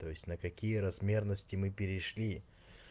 то есть на какие размерности мы перешли